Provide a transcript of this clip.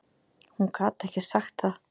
Hún gat ekki sagt það.